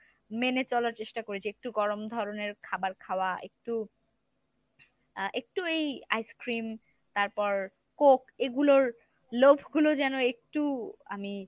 মেনে চলার চেষ্টা করি। একটু গরম ধরনের খাবার খাওয়া একটু আহ একটু এই ice-cream তারপর coke এগুলোর লোভ গুলো যেন একটু আমি